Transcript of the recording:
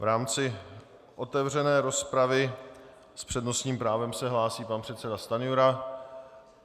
V rámci otevřené rozpravy s přednostním právem se hlásí pan předseda Stanjura.